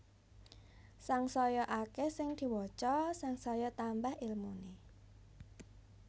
Sangsaya akeh sing diwaca sangsaya tambah ilmune